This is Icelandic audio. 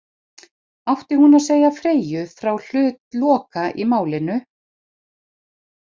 Átti hún að segja Freyju frá hlut Loka í málinu?